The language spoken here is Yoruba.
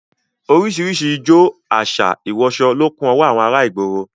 Orísìírísìí ijó, àṣà, ìwọsọ lọ kún ọwọ́ àwọn ará ìgboro